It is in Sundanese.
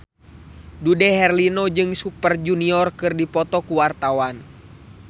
Dude Herlino jeung Super Junior keur dipoto ku wartawan